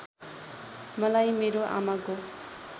मलाई मेरो आमाको